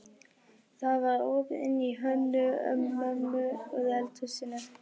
Það var opið inn til Hönnu-Mömmu úr eldhúsinu.